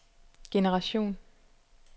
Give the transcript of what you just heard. generation